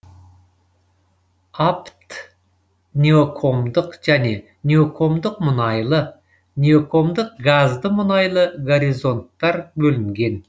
апт неокомдық және неокомдық мұнайлы неокомдық газды мұнайлы горизонттар бөлінген